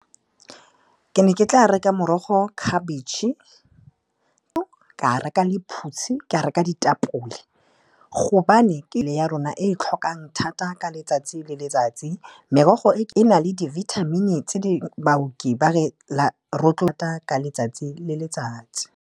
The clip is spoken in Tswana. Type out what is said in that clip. Ke ne ke tla reka morogo, khabetšhe, ka reka lephutshi, ka reka ditapole, gobane mebele ya rona e tlhokang thata ka letsatsi le letsatsi, merogo e e na le dibithamini tse baoki ba re rotloetsa ka letsatsi le letsatsi.